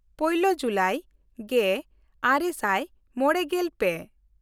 ᱯᱳᱭᱞᱳ ᱡᱩᱞᱟᱭ ᱜᱮᱼᱟᱨᱮ ᱥᱟᱭ ᱢᱚᱬᱜᱮᱞ ᱯᱮ